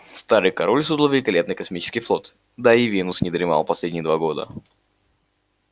старый король создал великолепный космический флот да и венус не дремал последние два года